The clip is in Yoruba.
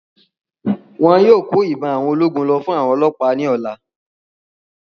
Wọn yóò kó Ìbọn àwọn ológun lọ fún àwọn ọlọ́ọ̀pá ní ọ̀la